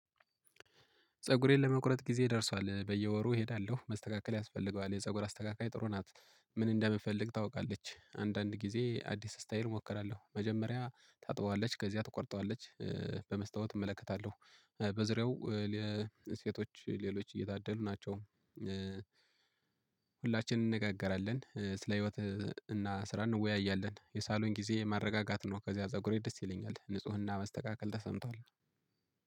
ፀጉሬን ለመቁረጥ ጊዜ ደርሷል በየወሩ እሄዳለሁ መስተካከል ያስፈልገዋል የፀጉር አስተካካይ ጥሩ ናት። ምን እንደምፈልግ ታውቃለች አንዳንድ ጊዜ አዲስ ስታይል እሞክራለሁ መጀመሪያ ታጥበዋለች ከዚያ ትቆርጠዋለች። በመስታወት እመለከታለሁ በዙሪያው ለሴቶች ሌሎች እየታደሉ ናቸው። ሁላችንም እንነጋገራለን ስለ ህይወት እና ስራ እንወያያለን የሳሎን ጊዜ ማረጋጋት ነው። ከዚያ ፀጉሬ ደስ ይለኛል ንፁህና መስተካከል ተሰምቷል።